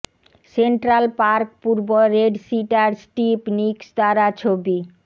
central park পূর্ব red cedar Steve Nicks দ্বারা ছবি